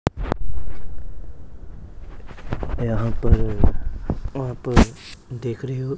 यहां पर वहां पर देख रहे हो--